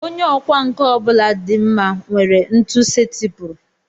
Onye ọkwá nkà ọ bụla dị mma nwere ntu setịpụrụ